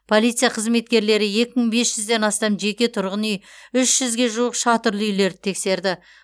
полиция қызметкерлері екі мың бес жүзден астам жеке тұрғын үй үш жүзге жуық шатырлы үйлерді тексерді